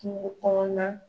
Kungo kɔnɔ na